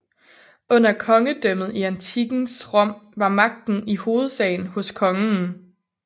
Under Kongedømmet i antikkens Rom var magten i hovedsagen hos Kongen